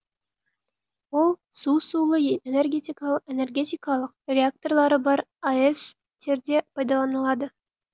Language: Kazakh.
ол су сулы энергетикалық реакторлары бар аэс терде пайдаланылады